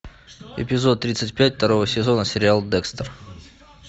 эпизод тридцать пять второго сезона сериал декстер